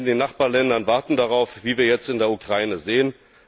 die Menschen in den Nachbarländern warten darauf, wie wir jetzt in der Ukraine sehen.